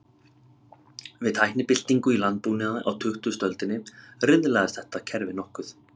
Við tæknibyltingu í landbúnaði á tuttugustu öldinni, riðlaðist þetta kerfi nokkuð.